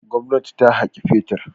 Gwamnati ta haƙi fetur.